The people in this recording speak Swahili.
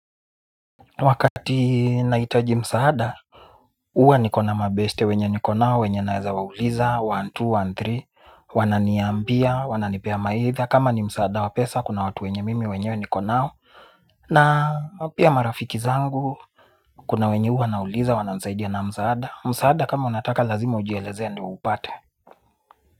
Wakati nahitaji msaada huwa nikona mabeste wenye nikonao wenye naeza wauliza one, two, one, three. Wananiambia, wananipea mawaidha. Kama ni msaada wa pesa kuna watu wenye mimi mwenyewe nikonao. Na pia marafiki zangu kuna wenye huwa nawauliza wananisaidia na msaada. Msaada kama unataka lazima ujielezee ndio uupate.